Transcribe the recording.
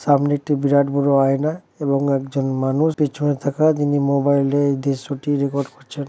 সামনে একটি বিরাট বড় আয়না এবং একজন মানুষ পেছনে থাকা যিনি মোবাইল এ দিয়ে সুটি রেকর্ড করছে।